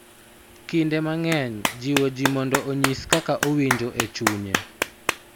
Kinde mang�eny jiwo ji mondo onyis kaka owinjo e chunye,